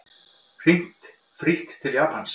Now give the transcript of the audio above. Hringt frítt til Japans